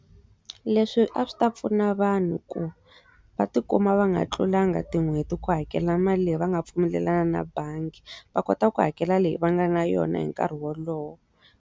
Leswi a swi ta pfuna vanhu ku va tikuma va nga tlulangi tin'hweti ku hakela mali leyi va nga pfumelelana na bangi va kota ku hakela leyi va nga na yona hi nkarhi wolowo.